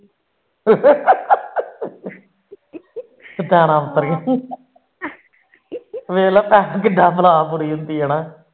ਵੇਖ ਲੈ